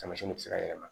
Taamasiyɛn bɛ se ka yɛlɛma